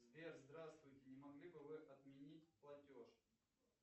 сбер здравствуйте не могли бы вы отменить платеж